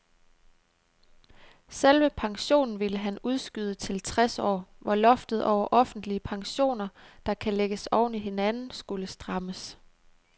Selve pensionen ville han udskyde til tres år, hvor loftet over offentlige pensioner, der kan lægges oven i hinanden, skulle strammes.